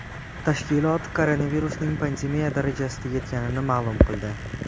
Tashkilot koronavirusning pandemiya darajasiga yetganini ma’lum qildi.